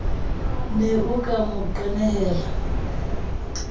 ne o ka mo qenehela